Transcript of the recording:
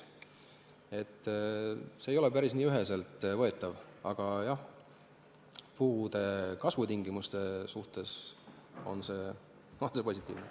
See ei ole päriselt nii üheselt võetav, aga jah, puude kasvutingimuste suhtes on see positiivne.